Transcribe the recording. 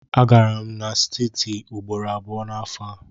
Agara m n'siti ugboro abụọ n'afọ a.